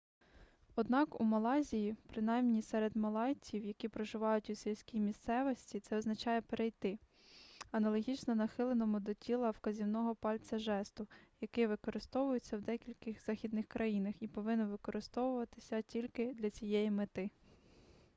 однак у малайзії принаймні серед малайців які проживають у сільській місцевості це означає перейти аналогічно нахиленому до тіла вказівного пальця жесту який використовується в деяких західних країнах і повинен використовуватися тільки для цієї мети